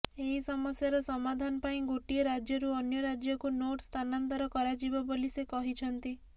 ଏହି ସମସ୍ୟାର ସମାଧାନ ପାଇଁ ଗୋଟିଏ ରାଜ୍ୟରୁ ଅନ୍ୟ ରାଜ୍ୟକୁ ନୋଟ୍ ସ୍ଥାନାନ୍ତର କରାଯିବ ବୋଲି ସେ କହିଛନ୍ତି